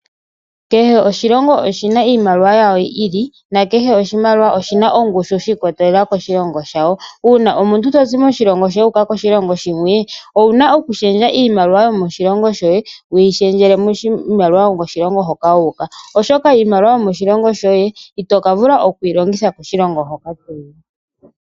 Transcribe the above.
Kehe oshilongo oshina iimaliwa yasho yi ili na kehe oshimaliwa oshina ongushu shi ikwatelela koshilongo shawo. Uuna omuntu to zi moshilongo shoye wu uka koshilongo shimwe, owuna okulundulula iimaliwa yoye yo moshilongo shoye wu yi lundululile miimaliwa yomoshilongo hoka wu uka. Oshoka iimaliwa yomoshilongo shoye ito ka vula okuyi longitha koshilongo hoka toyi.